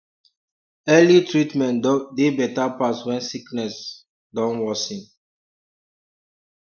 early treatment dey better pass when sickness don worsen